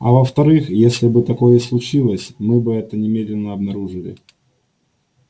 а во вторых если бы такое и случилось мы бы это немедленно обнаружили